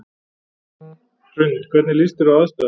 Hrund: Hvernig líst þér á aðstæður?